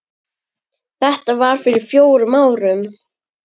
Þetta var fyrir fjórum árum.